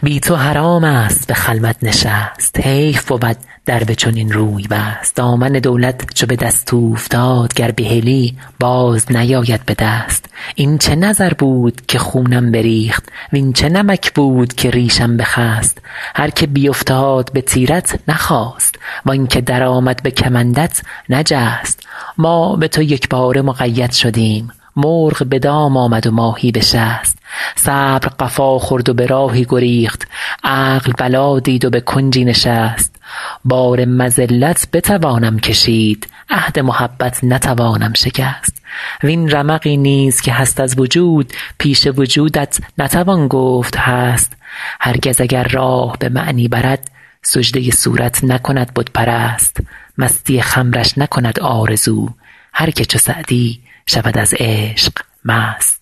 بی تو حرام است به خلوت نشست حیف بود در به چنین روی بست دامن دولت چو به دست اوفتاد گر بهلی باز نیاید به دست این چه نظر بود که خونم بریخت وین چه نمک بود که ریشم بخست هر که بیفتاد به تیرت نخاست وان که درآمد به کمندت نجست ما به تو یکباره مقید شدیم مرغ به دام آمد و ماهی به شست صبر قفا خورد و به راهی گریخت عقل بلا دید و به کنجی نشست بار مذلت بتوانم کشید عهد محبت نتوانم شکست وین رمقی نیز که هست از وجود پیش وجودت نتوان گفت هست هرگز اگر راه به معنی برد سجده صورت نکند بت پرست مستی خمرش نکند آرزو هر که چو سعدی شود از عشق مست